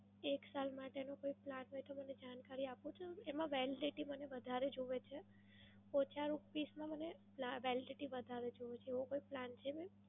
એક સાલ માટે નો કોઈ Plan હોય તો તમે મને જાણકારી આપી શકો છો? તેમાં Validity મને વધારે જોઈએ છે. ઓછા રૂપિસ માં મને લા Validity વધારે જોઈએ છે. એવો કોઈ Plan છે મેમ?